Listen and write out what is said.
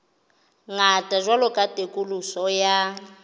ngata jwalo ka katoloso ya